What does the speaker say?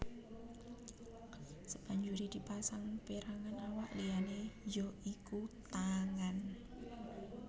Sabanjuré dipasang pérangan awak liyané ya iku tangan